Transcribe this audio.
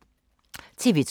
TV 2